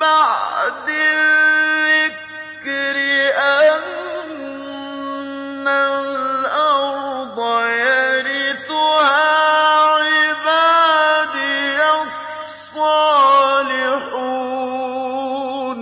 بَعْدِ الذِّكْرِ أَنَّ الْأَرْضَ يَرِثُهَا عِبَادِيَ الصَّالِحُونَ